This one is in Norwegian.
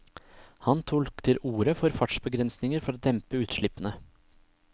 Han tok til orde for fartsbegrensninger for å dempe utslippene.